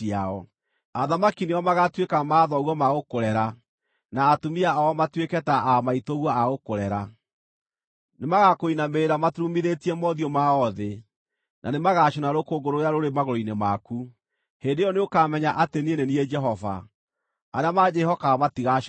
Athamaki nĩo magaatuĩka mathoguo ma gũkũrera, na atumia ao matuĩke ta aa maitũguo a gũkũrera. Nĩmagakũinamĩrĩra maturumithĩtie mothiũ mao thĩ, na nĩmagacũna rũkũngũ rũrĩa rũrĩ magũrũ-inĩ maku. Hĩndĩ ĩyo nĩũkamenya atĩ niĩ nĩ niĩ Jehova; arĩa manjĩhokaga matigaaconoka.”